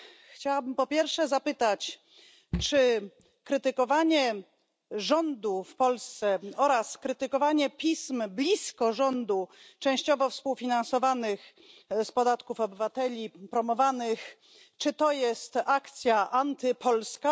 Chciałabym po pierwsze zapytać, czy krytykowanie rządu w Polsce oraz krytykowanie pism blisko rządu częściowo współfinansowanych z podatków obywateli i promowanych, czy to jest akcja antypolska?